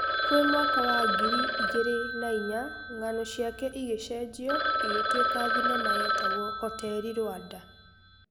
Kwĩmwaka wa ngiri igĩrĩ nainya ng'ano ciake igĩcenjio igĩtũĩka thinema yetagwo Hoteri Rwanda.